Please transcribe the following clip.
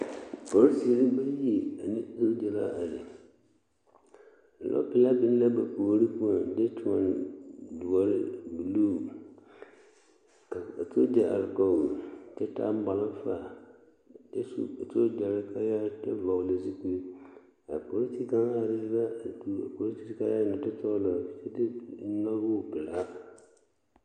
Polisiri bayi ane sogya la are lɔpelaa biŋ la ba puoriŋ a de toɔne buluu ka a sogya are kɔge kyɛ malfa kyɛ su sogyare kaaya kyɛ vɔgle zupili a polisi kaŋa are la kyɛ su a polisi kaaya nɔɔte sɔglɔ nɔgɔɔ Vela.